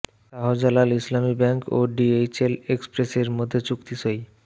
Shahjalal Islami bank ও DHL এক্সপ্রেসের মধ্যে চুক্তি সই